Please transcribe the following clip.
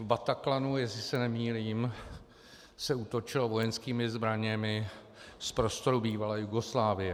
V Bataclanu, jestli se nemýlím, se útočilo vojenskými zbraněmi z prostoru bývalé Jugoslávie.